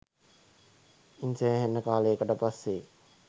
ඉන් සෑහෙන කාලයකට පස්සෙ